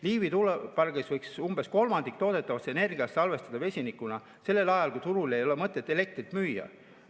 Liivi tuulepargis võiks umbes kolmandiku toodetavast energiast salvestada vesinikuna sellel ajal, kui turule ei ole mõtet elektrit müüa.